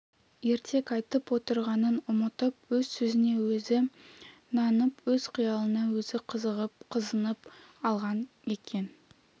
ертек айтып отырғанын ұмытып өз сөзіне өзі нанып өз қиялына өзі қызығып қызынып алған екен